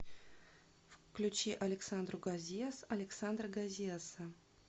включи александру гозиас александра гозиаса